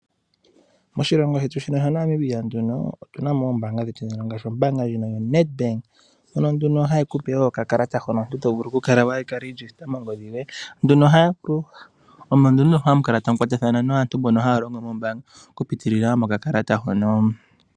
Moshilongo shetu shino sha Namibia, otuna mo oombaanga dhetu ngaashi ombaanga ndjoka ya Nadbank, ndjono ha yi ku pe woo oka kalata hono to vulu oku kala we ka lityaatya mongodhi yoye, omo nduno ha mu vulu oku kwatathana naantu mbono ha ya longo moombanga, oku pitila moka kalata hono.